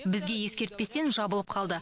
бізге ескертпестен жабылып қалды